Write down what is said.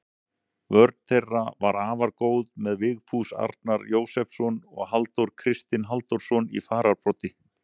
Vörn þeirra var afar góð með Vigfús Arnar Jósepsson og Halldór Kristinn Halldórsson í fararbroddi.